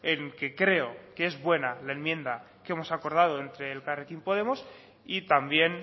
en que creo que es buena la enmienda que hemos acordado entre elkarrekin podemos y también